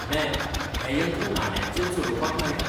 Ma'am, हें यंत्र नाण्यांचेर चलोवपाक मेळटा.